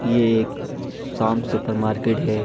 ये एक शाम सुपर मार्केट है।